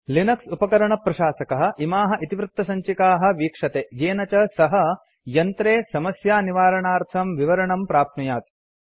Linux उपकरणप्रशासकः इमाः इतिवृत्तसञ्चिकाः वीक्षते येन च सः यन्त्रे समस्यानिवारणार्थं विवरणं प्राप्नुयात्